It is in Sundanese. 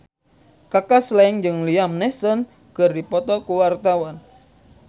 Kaka Slank jeung Liam Neeson keur dipoto ku wartawan